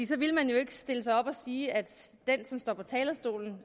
så ville man jo ikke stille sig op og sige at den som står på talerstolen